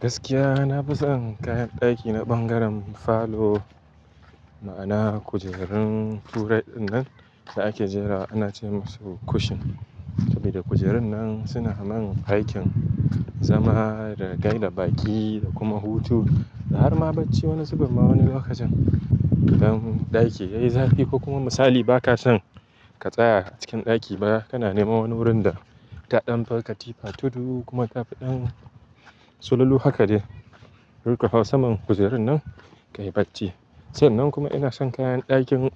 Gaskiya na fi son kayan ɗaki na ɓangaren falo, ma'ana kujerun two ride dinnan da ake jera ana ce masu cushion. Saboda kujerun nan suna mun aikin zama da gaida baƙi da kuma hutu. Da har ma bacci wani zubi ma wani lokacin don ɗaki yayi zafi ko kuma misali ba ka son ka tsaya a cikin ɗaki ba kana neman wani wurin da ka ɗan farka tipa tudu kuma kafi ɗan sululu haka dai. Sai ka hau saman kujerun nan kayi bacci. Sannan kuma ina son kayan ɗakin